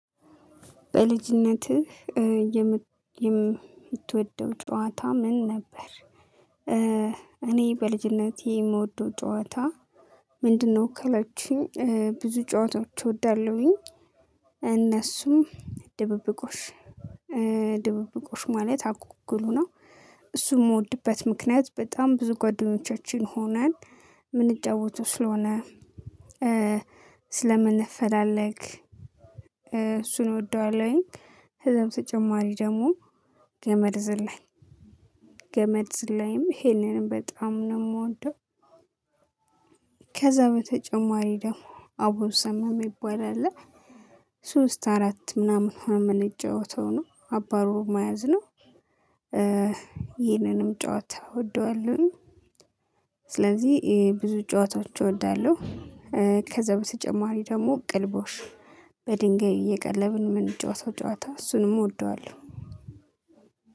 በልጅነትህ የምትወደው ጨዋታ ምን ነበር? እኔ በልጅነቴ የምወደው ጨዋታ ምንድነው ካላቹኝ ብዙ ጨዋታዎች እወዳለሁኝ እነሱም ድብብቆሽ ድብብቆሽ ማለት አኩኩሉ ነው። እሱን የምወድበት ምክንያት በጣም ብዙ ጉአደኞቻችን ሆነን የምንጫወቱ ስለሆነ። ስለምንፈላለግ እሱን እወደዋለሁኝ። ከዛ በተጨማሪ ደግሞ ገመድ ዝላይ ገመድ ዝላይም ይህንንም በጣም ነው የምወደው። ከዛ በተጨማሪ ደግሞ አቡሰመ የሚባል አለ ሶስት አራት ምናምን ሆነን ምንጫወተው ነው አባሮ መያዝ ነው። ይህንንም ጨዋታ እወደዋለሁኝ። ስለዚህ ይሄ ብዙ ጨዋታዎች እወዳለሁ። ከዛ በስተጨማሪ ደግሞ ቅልቦሽ በድንጋይ እየቀለብን ምን ጫወተው ጨዋታ እሱንም እወደዋለሁ።